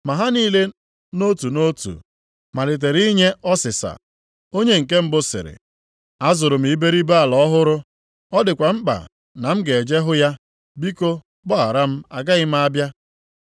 “Ma ha niile nʼotu nʼotu malitere inye ọsịsa. Onye nke mbụ sịrị, ‘Azụrụ m iberibe ala ọhụrụ, ọ dịkwa mkpa na m ga-eje hụ ya, biko gbaghara m, agaghị m abịa.’